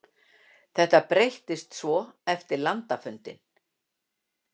Þetta breyttist svo eftir landafundi.